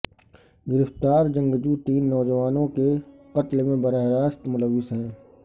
گرفتار جنگجو تین نوجوانوں کے قتل میں براہ راست ملوث ہیں